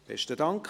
Besten Dank.